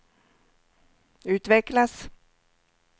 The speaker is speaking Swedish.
utvecklas